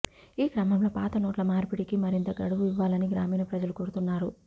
ఈ క్రమంలో పాత నోట్ల మార్పిడికి మరింత గడువు ఇవ్వాలని గ్రామీణ ప్రజలు కోరుతున్నారు